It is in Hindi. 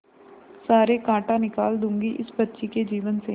सारे कांटा निकाल दूंगी इस बच्ची के जीवन से